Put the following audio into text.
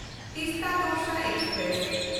Teesta Torsa express